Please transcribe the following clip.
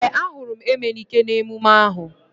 Ee, a hụrụ m Emenike n'emume ahu